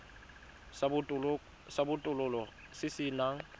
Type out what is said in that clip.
sa botokololo se se nang